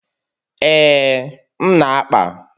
Ee, m na-akpa.